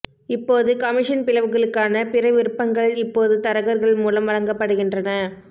இப்போது கமிஷன் பிளவுகளுக்கான பிற விருப்பங்கள் இப்போது தரகர்கள் மூலம் வழங்கப்படுகின்றன